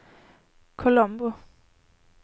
Colombo